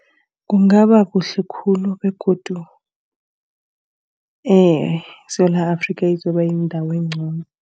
Kungaba kuhle khulu begodu iSewula Afrika izokuba yindawo encono.